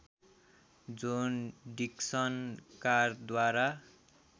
John Dixon कारद्वारा